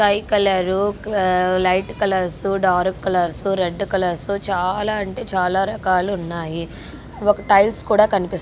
sky colour light colours dark colours red colours చాలా అంటే చాలా రకాలున్నాయి ఒక టైల్స్ కూడా కనిపి--